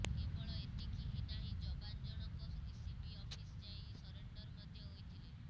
କେବଳ ଏତିକି ହିଁ ନାହିଁ ଯବାନ ଜଣ ଙ୍କ ଏସପି ଅଫିସ ଯାଇ ସେରେଣ୍ଡର ମଧ୍ୟ ହୋଇଥିଲେ